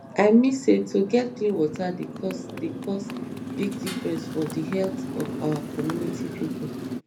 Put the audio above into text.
i mean say to get clean water dey cause dey cause big difference for the heallth of our community pipo